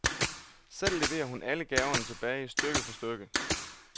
Selv leverer hun alle gaverne tilbage, stykke for stykke.